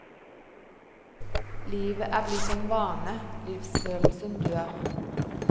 Livet er blitt en vane, livsfølelsen dør.